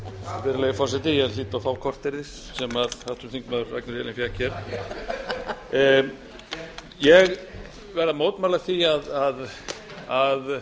virðulegi forseti ég hlýt að fá korterið sem háttvirtur þingmaður ragnheiður e árnadóttir fékk hér ég verð að